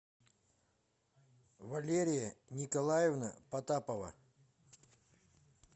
валерия николаевна потапова